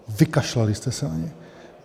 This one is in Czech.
Vykašlali jste se na ně.